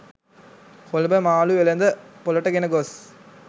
කොළඹ මාළු වෙළෙඳ පොළට ගෙන ගොස්